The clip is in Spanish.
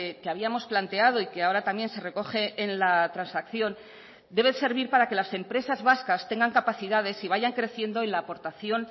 que habíamos planteado y que ahora también se recoge en la transacción debe servir para que las empresas vascas tengan capacidades y vayan creciendo en la aportación